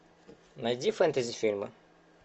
найди фэнтези фильмы